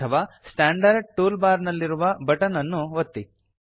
ಅಥವಾ standard tool bar ನಲ್ಲಿರುವ button ಅನ್ನು ಒತ್ತಿ